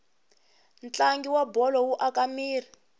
ntlangu wabholo wu aka miri